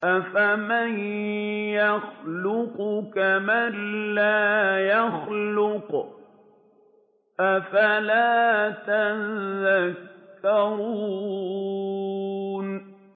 أَفَمَن يَخْلُقُ كَمَن لَّا يَخْلُقُ ۗ أَفَلَا تَذَكَّرُونَ